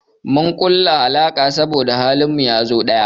Mun kulla alaka saboda halin mu yazo ɗaya.